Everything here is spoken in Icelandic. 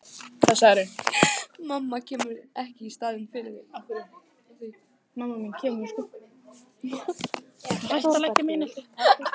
Mamma kemur ekki í staðinn fyrir þig.